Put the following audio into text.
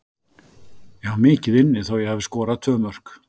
Ég á mikið inni þó ég hafi skorað tvö mörk.